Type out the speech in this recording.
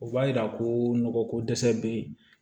O b'a yira ko nɔgɔ ko dɛsɛ be yen